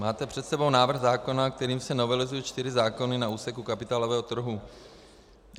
Máte před sebou návrh zákona, kterým se novelizují čtyři zákony na úseku kapitálového trhu.